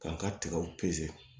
K'an ka tigaw